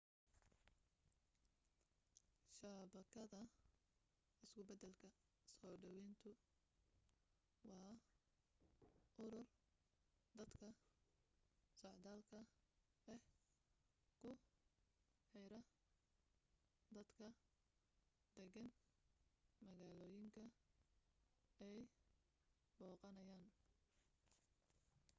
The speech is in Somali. shabakada isku beddelka soo dhawayntu waa urur dadka socdaalka ah ku xira dadka deggan magaalooyinka ay booqanayaan